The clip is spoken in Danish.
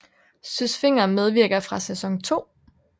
Søs Fenger medvirker fra sæson 2